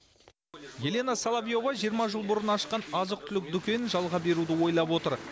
елена соловьёва жиырма жыл бұрын ашқан азық түлік дүкенін жалға беруді ойлап отыр